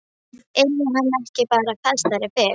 Yrði hann ekki bara fastari fyrir?